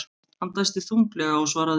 Hann dæsti þunglega og svaraði.